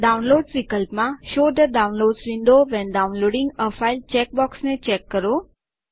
downloads વિકલ્પમાં show the downloads window when downloading a file check બોક્સને check કરો